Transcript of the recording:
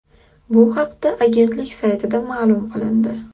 Bu haqda agentlik saytida ma’lum qilindi .